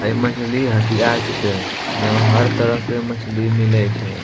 आय मछली हटिया छीके एहों हर तरह के मछली मिलय छय।